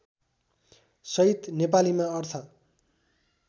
सहित नेपालीमा अर्थ